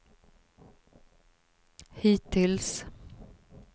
hittills